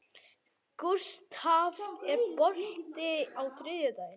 Gústaf, er bolti á þriðjudaginn?